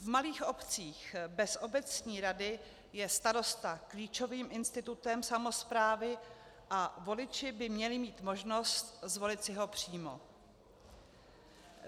V malých obcích bez obecní rady je starosta klíčovým institutem samosprávy a voliči by měli mít možnost zvolit si ho přímo.